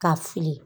Ka fili